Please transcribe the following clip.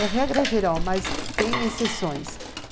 É regra geral, mas tem exceções.